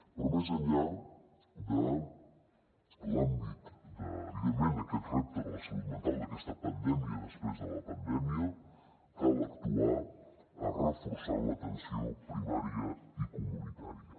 però més enllà de l’àmbit de evidentment aquest repte de la salut mental d’aquesta pandèmia després de la pandèmia cal actuar reforçant l’atenció primària i comunitària